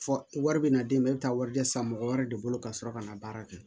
Fɔ wari bɛ na d'e ma e bɛ taa warijɛ san mɔgɔ wɛrɛ de bolo ka sɔrɔ ka na baara kɛ